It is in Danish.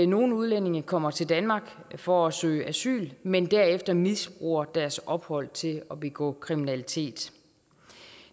nogle udlændinge kommer til danmark for at søge asyl men derefter misbruger deres ophold til at begå kriminalitet